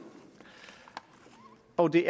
og det